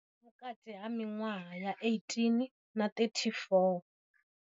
Vhukati ha miṅwaha ya 18 na 34.